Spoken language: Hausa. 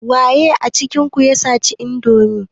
Waye cikin ku ya saci indomi?